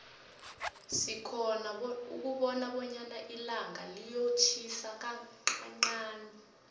sikhona ukubona bonyana ilanga liyotjhisa kanqanqani